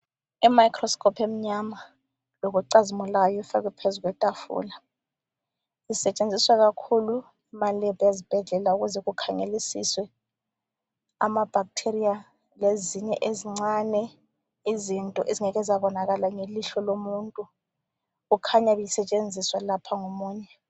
I microscope emnyama lokucazimulayo ifakwe phezu kwetafula. Isetshenziswa kakhulu emalebhu ezibhedlela ukuze kukhangelisiswe ama-bacteria lezinye ezincane izinto ezingeke zabonakala ngelihlo lomuntu. Kukhanya ibisetshenziswa lapha ngomunye.